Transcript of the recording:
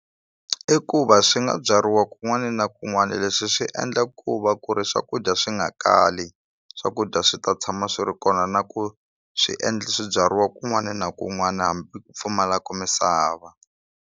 I ku va swi nga byariwa kun'wani na kun'wani leswi swi endla ku va ku ri swakudya swi nga kali swakudya swi ta tshama swi ri kona na ku swi endla swibyariwa kun'wani na kun'wani hambi pfumalaku misava.